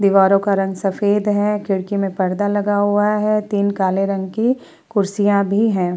दीवारों का रंग सफेद है। खिड़की में पर्दा लगा है। तीन काले रंग की कुर्सियां भी हैं।